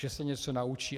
Že se něco naučí.